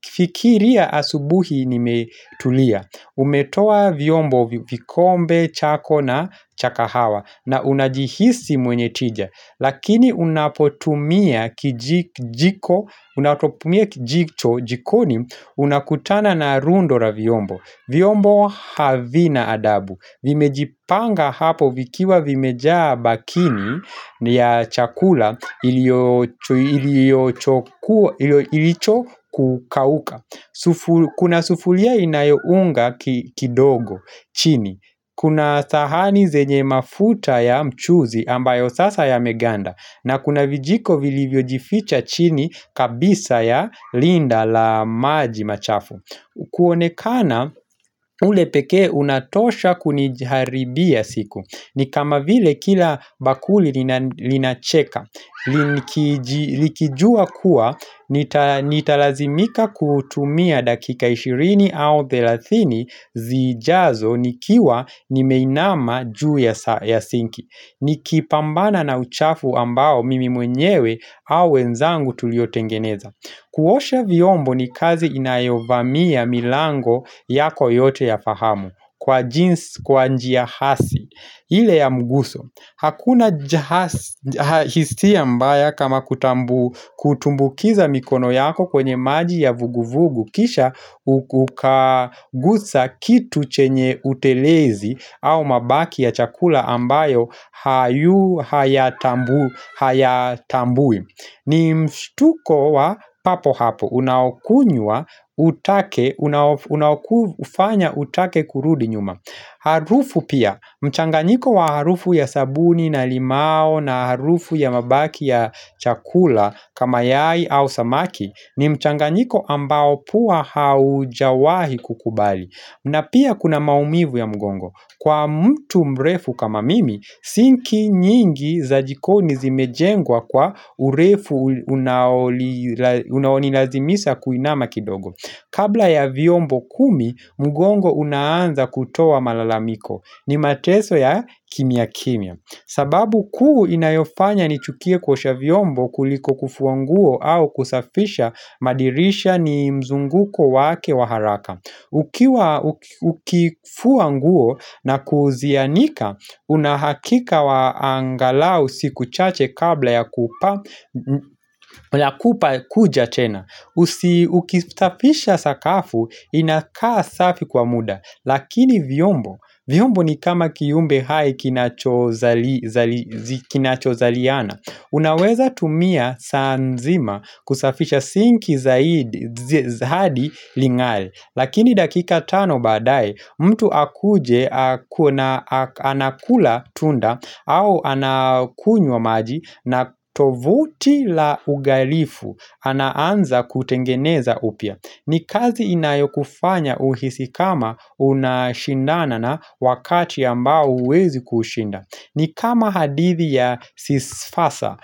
Fikiria asubuhi nimetulia Umetoa vyombo kikombe chako na cha kahawa na unajihisi mwenye tija Lakini unapotumia kijiko Unapotumia kijiko jikoni unakutana na rundora vyombo. Vyombo havina adabu Vimejipanga hapo vikiwa vimejaa bakini ya chakula ilichokukauka Kuna sufuria inayo unga kidogo chini. Kuna sahani zenye mafuta ya mchuzi ambayo sasa yameganda na kuna vijiko vilivyo jificha chini kabisa ya linda la maji machafu kuonekana ule pekee unatosha kuniharibia siku ni kama vile kila bakuli linacheka, likijua kuwa nitalazimika kutumia dakika 20 au 30 zijazo nikiwa nimeinama juu ya sinki. Nikipambana na uchafu ambao mimi mwenyewe au wenzangu tuliotengeneza. Kuosha viombo ni kazi inayovamia milango yako yote ya fahamu kwa jinsi kwa njia hasi. Ile ya mguso. Hakuna hisi mbaya kama kutumbukiza mikono yako kwenye maji ya vuguvugu kisha ukagusa kitu chenye utelezi au mabaki ya chakula ambayo hayatambui. Ni mstuko wa papo hapo, unakunywa, unakufanya utake kurudi nyuma Harufu pia, mchanganyiko wa harufu ya sabuni na limao na harufu ya mabaki ya chakula kama yai au samaki ni mchanganyiko ambao pua haujawahi kukubali na pia kuna maumivu ya mgongo Kwa mtu mrefu kama mimi, sinki nyingi za jikoni zimejengwa kwa urefu unaonilazimisa kuinama kidogo Kabla ya viombo kumi, mgongo unaanza kutoa malalamiko ni mateso ya kimya kimya. Sababu kuu inayofanya nichukie kuosha vyombo kuliko kufua nguo au kusafisha madirisha ni mzunguko wake wa haraka Ukifua nguo na kuzianika, unahakika wa angalau siku chache kabla ya kupa kuja tena Ukisafisha sakafu, inakaa safi kwa muda Lakini vyombo, vyombo ni kama kiumbe hai kinacho zaliana Unaweza tumia saa nzima kusafisha sinki zaidi hadi lingare Lakini dakika tano badae mtu akuje anakula tunda au anakunywa maji na tovuti la ugarifu anaanza kutengeneza upia. Ni kazi inayokufanya uhisi kama unashindana na wakati ambao huwezi kuushinda. Ni kama hadithi ya sisfasa